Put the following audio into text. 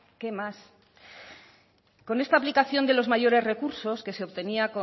qué más con esta aplicación de los mayores recursos que se obtenía